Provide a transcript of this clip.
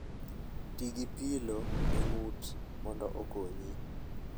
Ti gi pillow e ng'ut mondo okonyi.